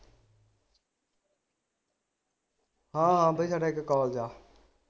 ਹਾਂ ਆਉਦੇ ਸਾਡਾ ਇਕ college ਆ